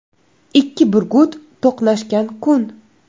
Ikki burgut to‘qnashgan kun.